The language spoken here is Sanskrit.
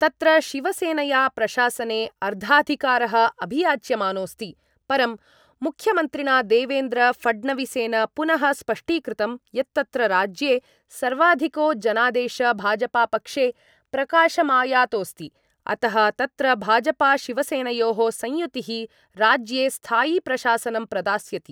तत्र शिवसेनया प्रशासने अर्धाधिकारः अभियाच्यमानोऽस्ति, परं मुख्यमन्त्रिणा देवेन्द्र फडणवीसेन पुनः स्पष्टीकृतं यत्तत्र राज्ये सर्वाधिको जनादेश भाजपापक्षे प्रकाशमायातोऽस्ति, अतः तत्र भाजपाशिवसेनयोः संयुतिः राज्ये स्थायिप्रशासनं प्रदास्यति।